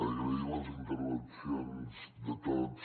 agrair les intervencions de tots